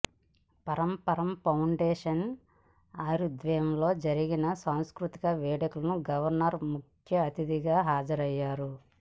పరంపర ఫౌండేషన్ ఆధ్వర్యంలో జరిగిన సాంస్కృతిక వేడుకలకు గవర్నర్ ముఖ్య అతిథిగా హాజరయ్యారు